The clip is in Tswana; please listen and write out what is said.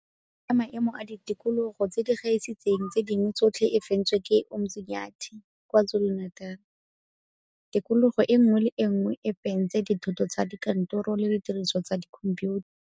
Ya Maemo a Ditikogolo tse di Gaisitseng tse Dingwe Tsotlhe e fentswe ke Umzinyathi, KwaZuluNatal. Tikologo e nngwe le e nngwe e fentse dithoto tsa kantoro le didirisiwa tsa dikhomphiutha.